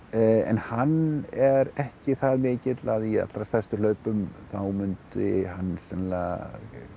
en hann er ekki það mikill að í allra stærstu hlaupum þá myndi hann sennilega